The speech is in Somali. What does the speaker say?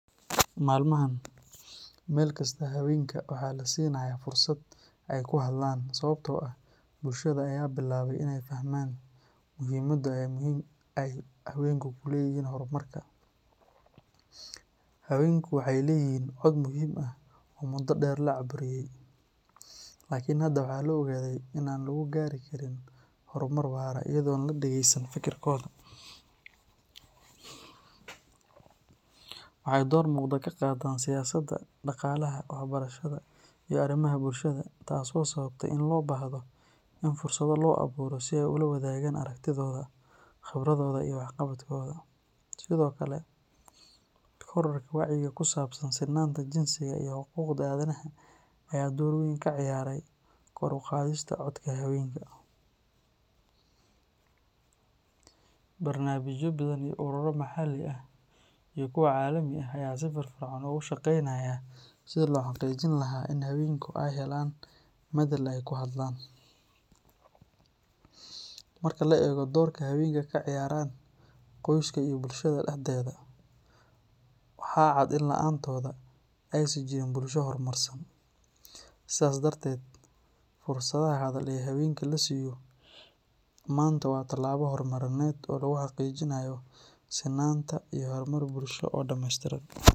Maalmahan, meel kasta haweenka waxaa la siinayaa fursad ay ku hadlaan sababtoo ah bulshada ayaa bilaabay inay fahmaan muhiimadda ay haweenku ku leeyihiin horumarka. Haweenku waxay leeyihiin cod muhiim ah oo muddo dheer la cabburiyay, laakiin hadda waxaa la ogaaday in aan lagu gaari karin horumar waara iyadoon la dhageysan fikirkooda. Waxay door muuqda ka qaataan siyaasadda, dhaqaalaha, waxbarashada iyo arrimaha bulshada, taasoo sababtay in loo baahdo in fursado loo abuuro si ay ula wadaagaan aragtidooda, khibradooda iyo waxqabadkooda. Sidoo kale, kororka wacyiga ku saabsan sinnaanta jinsiga iyo xuquuqda aadanaha ayaa door weyn ka ciyaaray kor u qaadista codka haweenka. Barnaamijyo badan iyo ururo maxalli ah iyo kuwa caalami ah ayaa si firfircoon ugu shaqeynaya sidii loo xaqiijin lahaa in haweenka ay helaan madal ay ku hadlaan. Marka la eego doorka haweenku ka ciyaaraan qoyska iyo bulshada dhexdeeda, waxaa cad in la’aantooda aysan jirin bulsho horumarsan. Sidaas darteed, fursadaha hadal ee haweenka la siiyo maanta waa tallaabo horumarineed oo lagu xaqiijinayo sinnaanta iyo horumar bulsho oo dhameystiran.